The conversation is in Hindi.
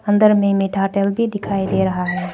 अंदर में मीठा तेल भी दिखाई दे रहा है।